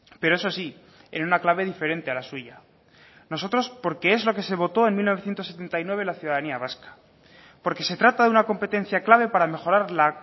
pero eso sí en una clave diferente a la suya nosotros porque es lo que se votó en mil novecientos setenta y nueve la ciudadanía vasca porque se trata de una competencia clave para mejorar la